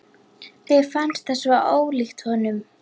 Mér fannst það svo ólíkt honum.